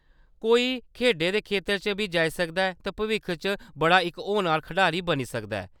कोई खेढें दे खेतरै च बी जाई सकदा ऐ ते भविक्ख च इक बड़ा होनहार खढारी बनी सकदा ऐ।